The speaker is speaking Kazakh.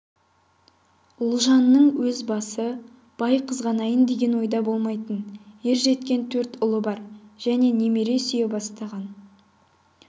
ұлжанның өз басы бай қызғанайын деген ойда болмайтын ержеткен төрт ұлы бар және немере сүйе бастаған